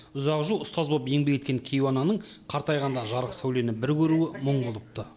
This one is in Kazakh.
ұзақ жыл ұстаз болып еңбек еткен кейуананың қартайғанда жарық сәулені бір көруі мұң болыпты